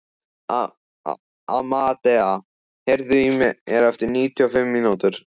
Amadea, heyrðu í mér eftir níutíu og fimm mínútur.